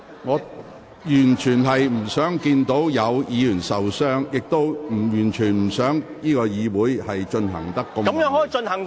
我完全不想看到有議員受傷，亦完全不想會議變得如此混亂。